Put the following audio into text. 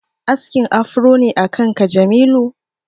Askin afro ne akan ka Jamilu?